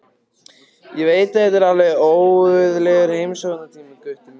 Ég veit að þetta er alveg óguðlegur heimsóknartími, Gutti minn.